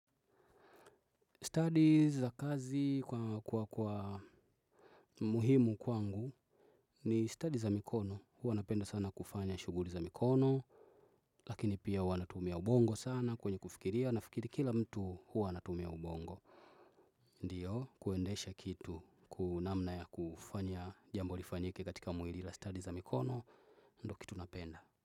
Stadi za kazi kwa kwa muhimu kwangu ni stadi za mikono. Huwa napenda sana kufanya shuguli za mikono. Lakini pia huwa natumia ubongo sana kwenye kufikiria nafikiri kila mtu huwa anatumia ubongo. Ndiyo, kuendesha kitu. Kwa namna ya kufanya jambo lifanyike katika mwili la stadi za mikono. Ndo kitu napenda.